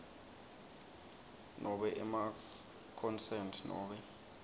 nobe emaconsent nobe